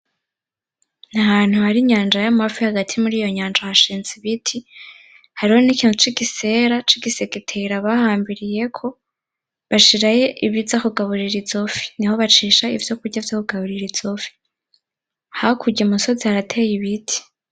Nahantu hari inyanja y'amafi hagati yiyo nyanja hashinze ibiti. Hariho nikimtu c'igisera c'igigetera bahambiriyeko bashirayo ibiza kugaburira izo fi. Niho bacisha ivyokurya vyokugaburira izo fi hakurya umusozi harateye ibiti.